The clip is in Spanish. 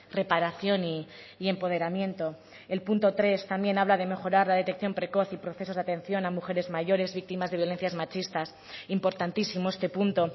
reparación y empoderamiento el punto tres también habla de mejorar la detección precoz y procesos de atención a mujeres mayores víctimas de violencias machistas importantísimo este punto